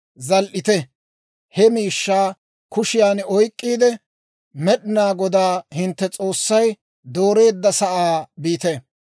zal"ite; he miishshaa kushiyan oyk'k'iide, Med'inaa Goday hintte S'oossay dooreedda sa'aa biite.